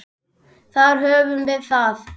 Þar höfum við það!